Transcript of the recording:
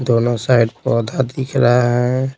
दोनों साइड पौधा दिख रहा है।